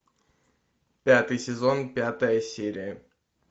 пятый сезон пятая серия